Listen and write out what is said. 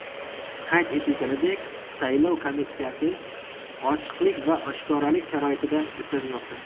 Qayd etilganidek, saylov kampaniyasi ochiqlik va oshkoralik sharoitida o‘tkazilmoqda.